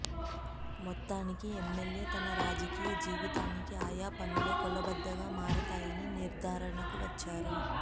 మొత్తానికి ఎమ్మెల్యే తన రాజకీయ జీవితానికి ఆయా పనులే కొలబద్దగా మారతాయని నిర్దారణకు వచ్చారు